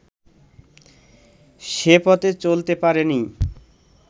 সে পথে চলতে পারে নি